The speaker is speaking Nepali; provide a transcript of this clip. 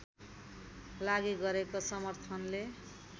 लागि गरेको समर्थनले